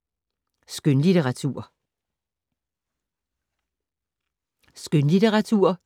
Skønlitteratur